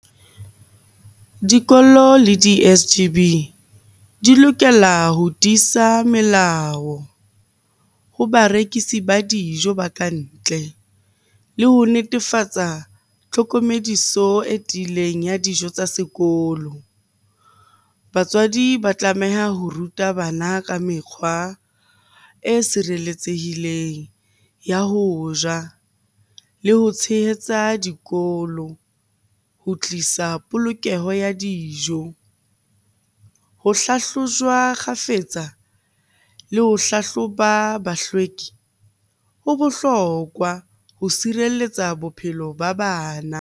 Dikolo le di-S_G_B di lokela ho tiisa melao ho barekisi ba dijo ba ka ntle, le ho netefatsa tlhokomediso e tiileng ya dijo tsa sekolo. Batswadi ba tlameha ho ruta bana ka mekgwa e sireletsehileng ya ho ja, le ho tshehetsa dikolo ho tlisa polokeho ya dijo. Ho hlahlojwa kgafetsa le ho hlahloba bohlweki ho bohlokwa ho sireletsa bophelo ba bana.